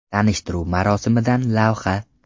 Tanishtiruv marosimidan lavha.